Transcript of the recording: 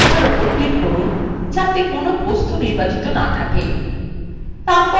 প্রথমে পাতার উপর click করুন যাতে কোন বস্তু নির্বাচিত না থাকে